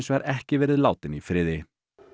vegar ekki verið látin í friði